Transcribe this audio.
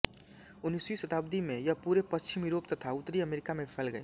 उन्नीसवी शताब्दी में यह पूरे पश्चिमी यूरोप तथा उत्तरी अमेरिका में फैल गयी